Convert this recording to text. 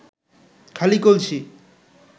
খালি কলসি